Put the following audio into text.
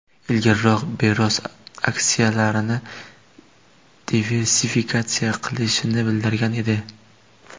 Ilgariroq Bezos aksiyalarini diversifikatsiya qilishini bildirgan edi.